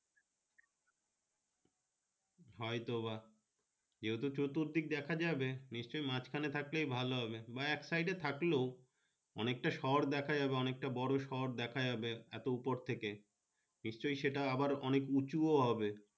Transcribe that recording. হয় তো বা ছুরত দিক দেখা যাবে নিশ্চয় মাজ খানে থাকলে ভালো হবে বা এক সাইডে থাকলো অনেকটা শহর দেখা যাবে অনেক তা বরো শহর দেখা যাবে এত উপর থেকে নিশ্চয় সেটা আবার অনেকটা উঁচু হবে।